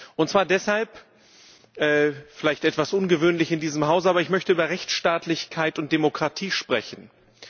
Und zwar deshalb vielleicht etwas ungewöhnlich in diesem Hause weil ich über Rechtsstaatlichkeit und Demokratie sprechen möchte.